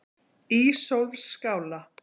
Ísólfsskála